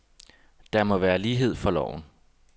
Der må være lighed for loven.